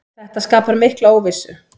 Þetta skapar mikla óvissu.